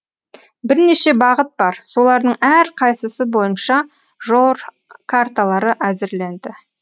бірнеше бағыт бар солардың әрқайсысы бойынша жол карталары әзірленді